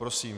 Prosím.